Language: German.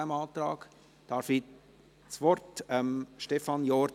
Ich übergebe ihm das Wort.